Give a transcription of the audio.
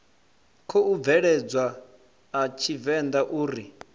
khou bveledzwa a tshivenḓa uri